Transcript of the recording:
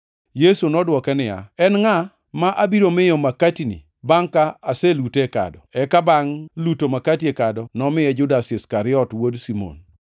Yesu nodwoke niya, “En ngʼama abiro miyo makatini bangʼ ka aselute e kado.” Eka, bangʼ luto makati e kado, nomiye Judas Iskariot wuod Simon.